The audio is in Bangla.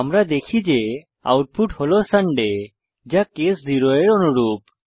আমরা দেখি যে আউটপুট হল সান্ডে যা কেস 0 এর অনুরূপ